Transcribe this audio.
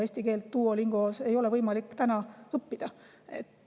Eesti keelt Duolingos ei ole võimalik õppida.